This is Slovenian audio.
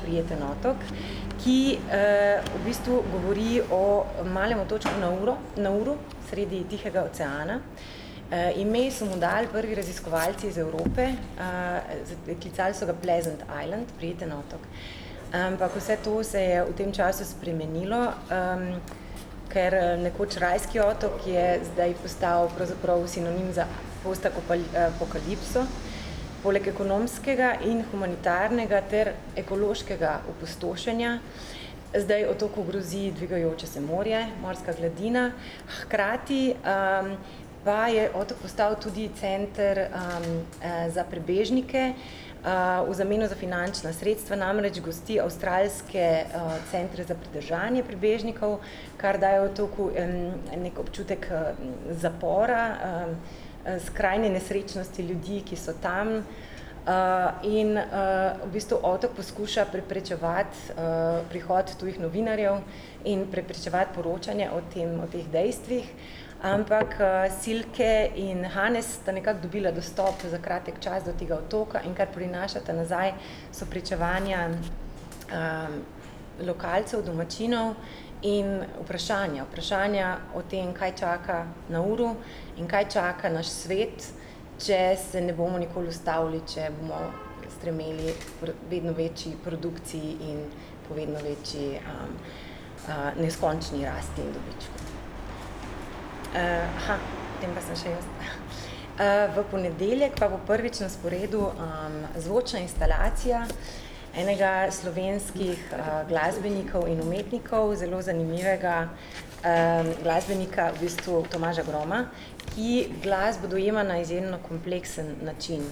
Prijeten otok, ki, v bistvu govori o malem otočku Nauro, Nauru, sredi Tihega oceana. ime so mu dali prvi raziskovalci iz Evrope, klicali so ga Pleasant island, Prijetni otok, ampak vse to se je v tem času spremenilo, ker, nekoč rajski otok je zdaj postal pravzaprav sinonim za post apokalipso poleg ekonomskega in humanitarnega ter ekološkega opustošenja zdaj otoku grozi dvigajoče se morje, morska gladina, hkrati, pa je otok postal tudi center, za prebežnike, v zameno za finančna sredstva, namreč gosti avstralske, centru za pridržanje prebežnikov, kar daje otoku neki občutek, zapora, skrajne nesrečnosti ljudi, ki so tam, in, v bistvu otok poskuša preprečevati, prihod tujih novinarjev in preprečevati poročanje o tem, o teh dejstvih. Ampak, Silke in Hannes sta nekako dobila dostop za kratek čas do tega otoka in kar prinašata nazaj, so pričevanja, lokalcev, domačinov in vprašanja, vprašanja o tem, kaj čaka Nauru in kaj čaka naš svet, če se ne bomo nikoli ustavili, če bomo strmeli k vedno večji produkciji in vedno večji, neskončni rasti in dobičku. potem pa sem še jaz. v ponedeljek pa bo prvič na sporedu, zvočna instalacija enega slovenskih, glasbenikov in umetnikov zelo zanimivega, glasbenika v bistvu, Tomaža Groma, ki glasbo dojema na izjemno kompleksen način.